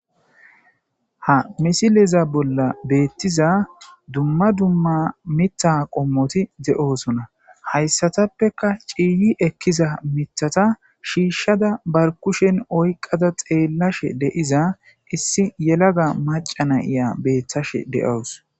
ha misileza bolla beettiza dumma dumma mitta qommoti de7oosona hayssatappeka ciiyi ekkiza mithata shiishshada bar kushen oyqada xeellashe de7iza issi yelaga macana iya beeththashe de7owus